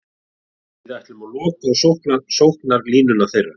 Við ætluðum að loka á sóknarlínuna þeirra.